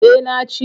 Eh na ci.